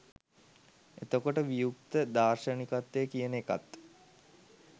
එතකොට වියුක්ත දාර්ශනිකත්වය කියන එකත්